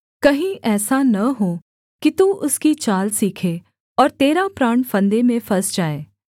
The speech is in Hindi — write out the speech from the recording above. कहीं ऐसा न हो कि तू उसकी चाल सीखे और तेरा प्राण फंदे में फँस जाए